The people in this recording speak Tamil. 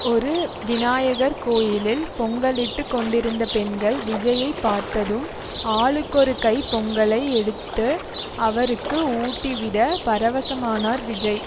ஒரு விநாயகர் கோயிலில் பொங்கலிட்டு கொண்டிருந்த பெண்கள் விஜய்யை பார்த்ததும் ஆளுக்கொரு கை பொங்கலை எடுத்து அவருக்கு ஊட்டிவிட பரவசமானார் விஜய்